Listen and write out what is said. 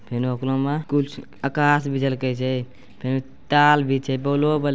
फिनु होकरो म कुछ आकास भी झलके छै। फिर ताल भी छे बोलो बल--